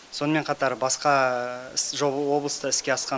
сонымен қатар басқа облыста іске асқан